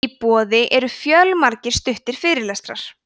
í boði eru fjölmargir stuttir fyrirlestrar